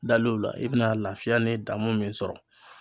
Dal'o la i bɛna lafiya ni damu min sɔrɔ.